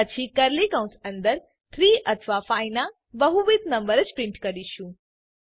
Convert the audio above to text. પછી કર્લી કૌંસ અંદર 3 અથવા 5 ના બહુવિધ નંબર જ પ્રિન્ટ કરીશું